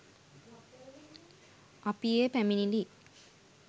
අපි ඒ පැමිණිලි